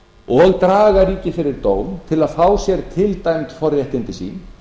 og draga ríkið fyrir dóm til að fá sér til dæmd forréttindi sín